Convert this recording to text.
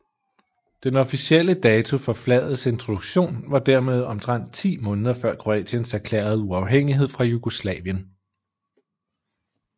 Den officielle dato for flagets introduktion var dermed omtrent ti måneder før Kroatiens erklærede uafhængighed fra Jugoslavien